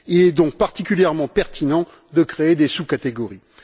Il est donc particulièrement pertinent de créer des sous catégories.